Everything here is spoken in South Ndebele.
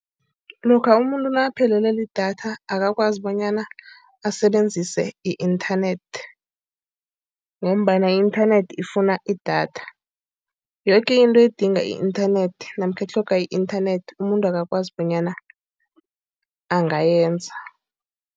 Lokha umuntu nakaphelelwe lidatha akakwazi bonyana asebenzise i-inthanethi, ngombana i-inthanethi ifuna idatha. Yoke into edinga i-inthanethi namkha itlhoga i-inthanethi umuntu akakwazi bonyana angayenza.